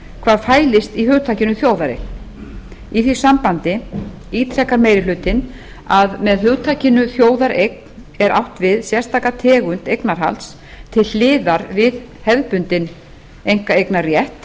hvað fælist í hugtakinu þjóðareign í því sambandi ítrekar meiri hlutinn að með hugtakinu þjóðareign er átt við sérstaka tegund eignarhalds til hliðar við hefðbundinn einkaeignarrétt